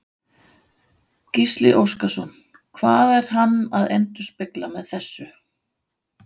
Gísli Óskarsson: Hvað er hann að endurspegla með þessu?